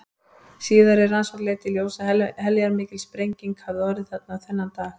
Síðari rannsókn leiddi í ljós að heljarmikil sprenging hafði orðið þarna þennan dag.